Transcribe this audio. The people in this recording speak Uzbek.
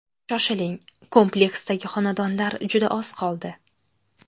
Shoshiling, kompleksdagi xonadonlar juda oz qoldi.